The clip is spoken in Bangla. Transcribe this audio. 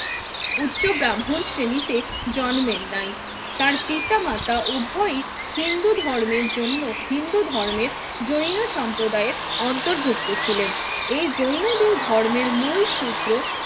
উচ্চ ব্রাহ্মণ শ্রেণীতে জন্মে নাই তার পিতা মাতা উভয়ই হিন্ধু ধর্মের জন্য হিন্ধু ধর্মের জৈন সম্প্রদায়ের অন্তর্ভুক্ত ছিলেন এই জৈনদের ধর্মের মূলসূত্ৰ